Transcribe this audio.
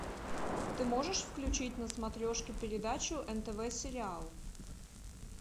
ты можешь включить на смотрешке передачу нтв сериал